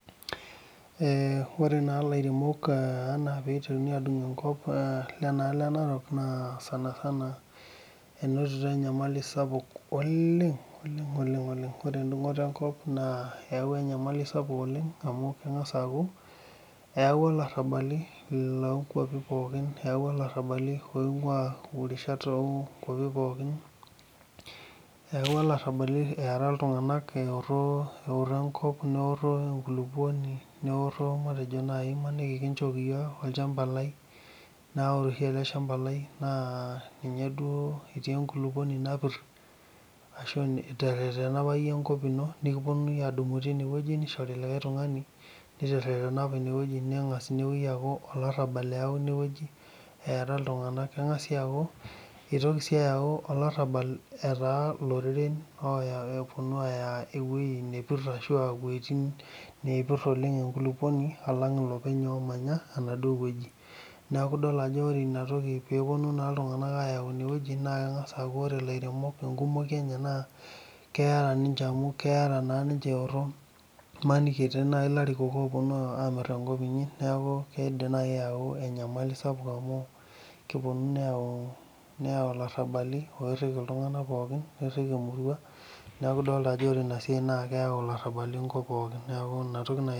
Ee ore na lairemok ana pitokini adung enkop ana lenaali enarok inotito enyamali sapuk oleng ore endungoto enkop eyawua nyamalitin kumok oleng amu eyawua larabali lonkwapi poki eyawua larabali eara ltunganak eoro enkop neoro enkulukuoni matejo elelek kichooki olchamba lai na elelek aa ore eleshamba na ninye etii enkulukuoni napir ashu iterena apa iyie enkop ino nikiponuo adumu nishori likae tungani miterena apa inewueji nengasa aakubolarabal etaa Loreren eponu aya wuejitin napir enkulukuoni omanya emaduo wueji neaku idol ajo ore laremok emanya ine keera ninche imaniki etiu larikok oponu amir enkop inyi neaku imanini eponu ayau enyamali sapuk amu keponu meyau larabali pirili ltunganak pooki nikiriki emurua neaku inatoki nai aidim.